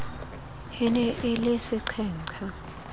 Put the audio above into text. e ne e le seqhenqha